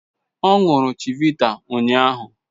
Ọ ṅụrụ chivita ụnyahụ